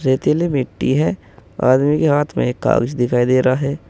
रेतीली मिट्टी है आदमी के हाथ में एक कागज दिखाई दे रहा है।